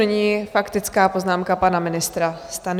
Nyní faktická poznámka pana ministra Stanjury.